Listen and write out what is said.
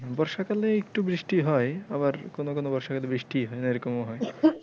বর্ষাকালে একটু বৃষ্টি হয় আবার কোনো কোনো বর্ষাকালে বৃষ্টিই হয়না এরকমও হয়।